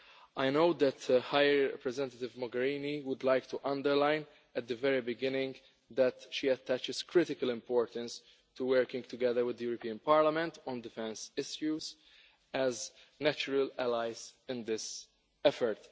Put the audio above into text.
I know that High Representative Mogherini would like to underline, at the very beginning, that she attaches critical importance to working together with the European Parliament on defence issues as natural allies in this effort.